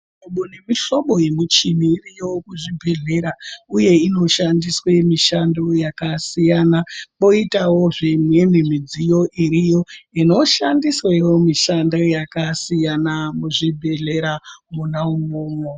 Mihlobo nemihlobo yemichinibiriyo kuzvibhedhlera, uye inoshandiswe yakasiyana. Poitawozve imweni midziyo iriyo, inoita nezve inoshandiswewo mishando yakasiyana muzvibhedhlera, mwona umwomwo.